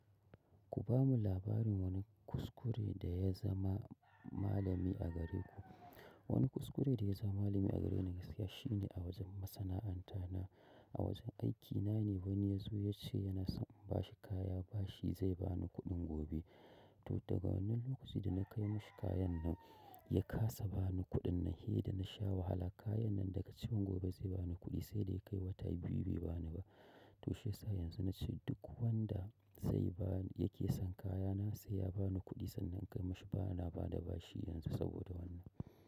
Ku ba mu labarin wani kuskure da ya zama malami a gare ku. Wani kuskure da ya zama malami a gare ni gaskiya shi ne a wajen masana'anta na, a wajen aiki na ne wani ya zo ya ce yana son bashi kaya bashi zai bani kuɗin gobe. To daga wannan lokaci da na kai mashi kayan nan ya kasa ba ni kuɗin nan, hai da na sha wahala kayan nan daga cikin gobe zai bani kuɗi sai da ya kai wata biyu bai bani ba. To shiyasa yanzu na ce duk wanda sai baya yake son kayana sai ya bani kuɗi sannan in kai mashi bana bada bashi yanzu saboda wannan.